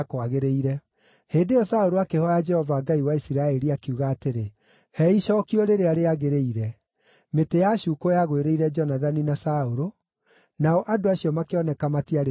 Hĩndĩ ĩyo Saũlũ akĩhooya Jehova Ngai wa Isiraeli, akiuga atĩrĩ, “He icookio rĩrĩa rĩagĩrĩire.” Mĩtĩ yacuukwo yagwĩrĩire Jonathani na Saũlũ, nao andũ acio makĩoneka matiarĩ na ũcuuke.